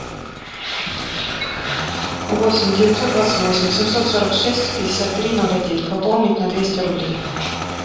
восемь девятьсот двадцать восемь семьсот сорок шесть пятьдесят три ноль один пополнить на двести рублей